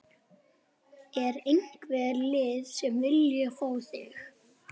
Er einhver lið sem að vilja fá þig?